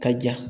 Ka ja